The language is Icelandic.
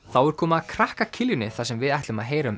þá er komið að krakka þar sem við ætlum að heyra um